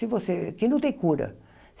Se você que não tem cura.